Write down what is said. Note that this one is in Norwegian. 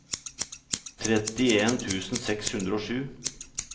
trettien tusen seks hundre og sju